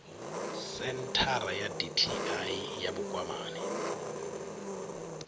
senthara ya dti ya vhukwamani